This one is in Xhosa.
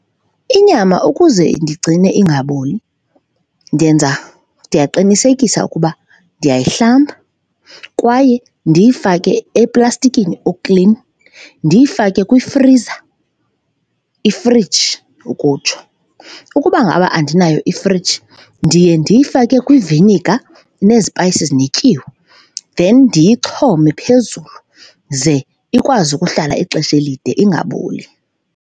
Inyama ukuze ndigcine ingaboli ndenza, ndiyaqinisekisa ukuba ndiyayihlamba kwaye ndiyifake eplastikini oklini, ndiyifake kwifriza, ifriji ukutsho. Ukuba ngaba andinayo ifriji ndiye ndiyifake kwiviniga nezipayisi ezinetyiwa then ndiyixhome phezulu, ze ikwazi ukuhlala ixesha elide ingaboli.